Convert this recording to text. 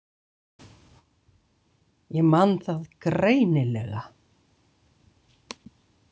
Ég man það greinilega.